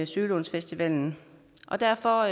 sølundfestivalen derfor